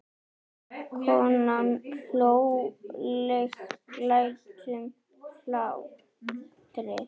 Konan hló léttum hlátri.